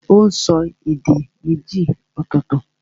Ó n so èdè méjì ọ̀tọ̀ọ̀tọ̀